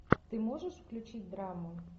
ты можешь включить драму